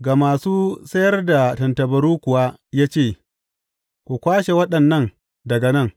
Ga masu sayar da tattabaru kuwa ya ce, Ku kwashe waɗannan daga nan!